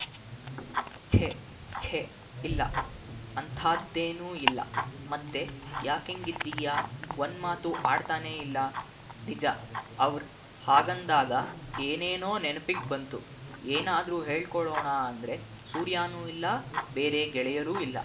ಛೆ ಛೆ ಇಲ್ಲ ಅಂಥಾದ್ದೇನೂ ಇಲ್ಲ ಮತ್ತೆ ಯಾಕಿಂಗ್ ಇದ್ದೀಯ ಒಂದ್ ಮಾತೂ ಆಡ್ತಾನೇ ಇಲ್ಲ ನಿಜ ಅವ್ರ್ ಹಾಗಂದಾಗ ಏನೇನೊ ನೆನಪಿಗ್ ಬಂತು ಏನಾದ್ರೂ ಹೇಳ್ಕೊಳ್ಳೋಣ ಅಂದ್ರೆ ಸೂರ್ಯಾನೂ ಇಲ್ಲ ಬೇರೆ ಗೆಳೆಯರೂ ಇಲ್ಲ